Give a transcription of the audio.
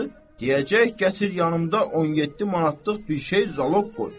Deyəcək gətir yanımda 17 manatlıq bir şey zaloq qoy.